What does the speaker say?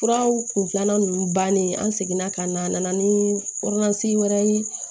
Furaw kun filanan nunnu bannen an seginna ka na a nana ni wɛrɛ ye